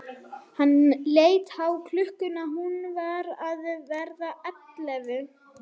Hann leit á klukkuna, hún var að verða ellefu.